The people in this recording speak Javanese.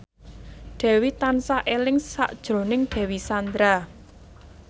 Dewi tansah eling sakjroning Dewi Sandra